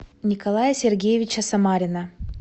николая сергеевича самарина